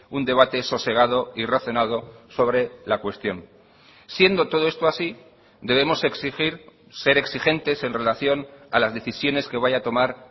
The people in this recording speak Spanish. un debate sosegado y razonado sobre la cuestión siendo todo esto así debemos exigir ser exigentes en relación a las decisiones que vaya a tomar